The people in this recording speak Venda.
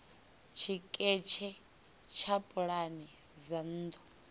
tshiketshe tsha pulane dza nnḓu